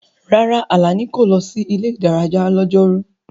Rárá, Alani kò lọ sí ilé-ìdárayá lọ́jọ́rú.